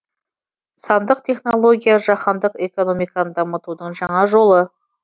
сандық технология жаһандық экономиканы дамытудың жаңа жолы